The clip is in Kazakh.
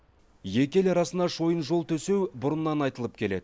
екі ел арасына шойын жол төсеу бұрыннан айтылып келеді